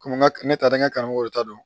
Komi n ka ne taara n ka karamɔgɔ ta dɔn